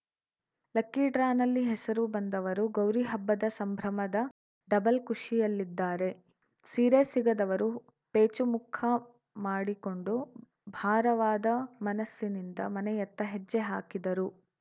lucky ಡ್ರಾನಲ್ಲಿ ಹೆಸರು ಬಂದವರು ಗೌರಿ ಹಬ್ಬದ ಸಂಭ್ರಮದ ಡಬಲ್‌ ಖುಷಿಯಲ್ಲಿದ್ದಾರೆ ಸೀರೆ ಸಿಗದವರು ಪೇಚು ಮುಖ ಮಾಡಿಕೊಂಡು ಭಾರವಾದ ಮನಸ್ಸಿನಿಂದ ಮನೆಯತ್ತ ಹೆಜ್ಜೆ ಹಾಕಿದರು